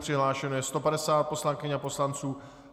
Přihlášeno je 150 poslankyň a poslanců.